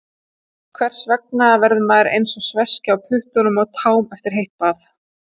Hvers vegna verður maður eins og sveskja á puttum og tám eftir heitt bað?